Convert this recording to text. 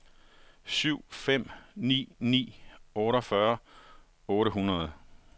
syv fem ni ni otteogfyrre otte hundrede